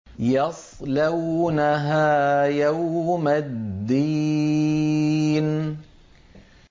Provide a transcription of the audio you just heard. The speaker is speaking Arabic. يَصْلَوْنَهَا يَوْمَ الدِّينِ